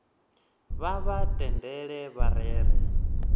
vha vha tendele vha rere